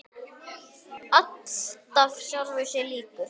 Alltaf sjálfum sér líkur.